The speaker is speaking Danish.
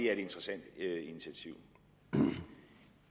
er et interessant initiativ